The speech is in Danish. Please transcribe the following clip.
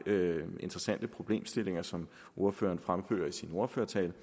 interessante problemstillinger som ordføreren fremfører i sin ordførertale